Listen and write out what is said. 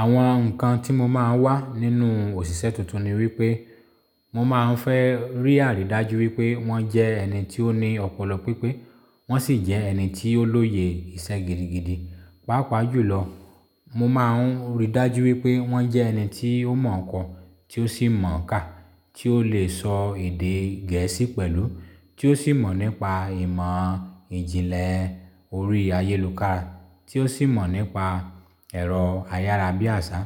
Àwọn ǹkan tí mo máa ń wá nínú òṣìṣẹ́ tuntun ni wípé mo máa ń fẹ́ rí àrídájú wípé wọ́n jẹ́ ẹni tí ó ní ọpọlọ pípé, wọ́n sì jẹ́ ẹni tí ó lóye ìṣe gidigidi. Pàápàá jùlọ, mo máa ń rí dájú wípé wọ́n jẹ́ ẹni tí ó mọ̀ ọkàn, tí ó sì mọ̀ ká, tí ó lè sọ èdè gẹ̀ẹ́sì pẹ̀lú, tí ó sì mọ̀ nípa ìmọ̀ ìjìnlẹ̀ orí ayélùkára, tí ó sì mọ̀ nípa ẹ̀rọ ayára bí àṣá.